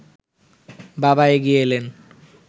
বাবা এগিয়ে এলেন